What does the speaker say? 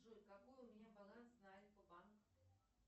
джой какой у меня баланс на альфа банк